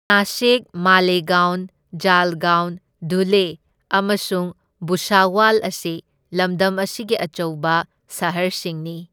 ꯅꯥꯁꯤꯛ, ꯃꯥꯂꯦꯒꯥꯎꯟ ꯖꯜꯒꯥꯎꯟ, ꯙꯨꯂꯦ ꯑꯃꯁꯨꯡ ꯚꯨꯁꯥꯋꯥꯜ ꯑꯁꯤ ꯂꯝꯗꯝ ꯑꯁꯤꯒꯤ ꯑꯆꯧꯕ ꯁꯍꯔꯁꯤꯡꯅꯤ꯫